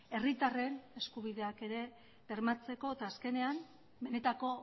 herritarren eskubideak ere bermatzeko eta azkenean benetako